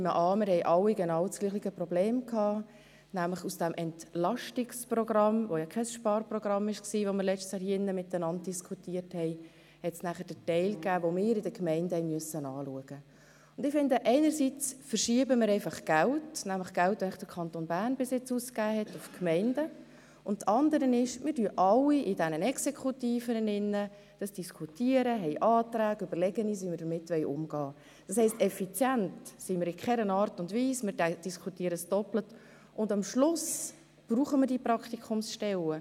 Ich nehme an, wir hatten alle dasselbe Problem, weil es einen Teil des Entlastungsprogramms gab – dieses diskutierten wir letztes Jahr, und es war ja kein Sparprogramm –, den wir seitens der Gemeinden anschauen mussten.